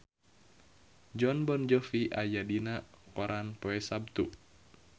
Jon Bon Jovi aya dina koran poe Saptu